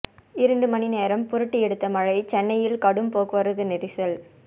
இரண்டு மணி நேரம் புரட்டி எடுத்த மழை சென்னையில் கடும் போக்குவரத்து நெரிசல்